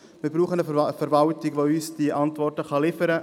Wir brauchen eine Verwaltung, die uns diese Antworten liefern kann.